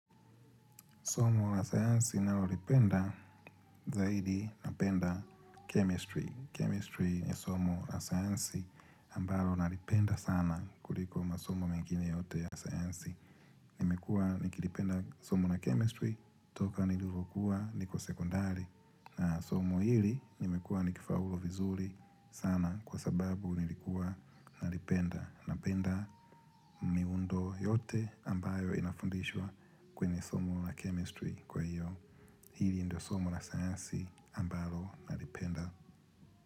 Somo la sayansi nalolipenda zaidi napenda chemistry. Chemistry ni somo la sayansi ambalo nalipenda sana kuliko masomo mengine yote ya sayansi. Nimekua nikilipenda somo la chemistry toka nilivyokuwa niko sekondari. Na somo hili nimekua nikifa ulu vizuri sana kwa sababu nilikuwa nalipenda. Na penda miundo yote ambayo inafundishwa kwenye somo la chemistry kwa hiyo. Hili ndio somo na sayansi ambalo nali penda.